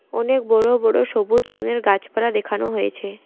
অনেক বড় বড় সবুজ রংয়ের গাছপালা দেখানো হয়েছে।